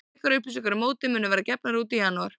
Frekari upplýsingar um mótið munu verða gefnar út í janúar.